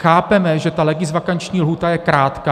Chápeme, že ta legisvakanční lhůta je krátká.